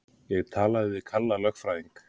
Ég talaði við Kalla lögfræðing.